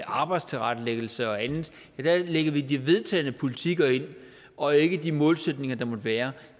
arbejdstilrettelæggelse og andet der ligger vi de vedtagne politikker ind og ikke de målsætninger der måtte være